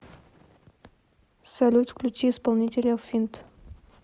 салют включи исполнителя финт